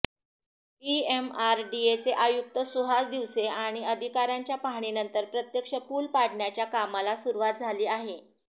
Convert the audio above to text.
पीएमआरडीएचे आयुक्त सुहास दिवसे आणि अधिकाऱ्यांच्या पाहणीनंतर प्रत्यक्ष पूल पाडण्याच्या कामाला सुरुवात झाली आहे